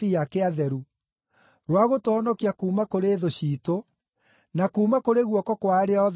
rwa gũtũhonokia kuuma kũrĩ thũ ciitũ, na kuuma kũrĩ guoko kwa arĩa othe matũmenaga,